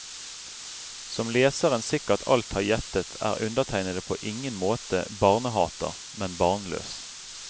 Som leseren sikkert alt har gjettet er undertegnede på ingen måte barnehater, men barnløs.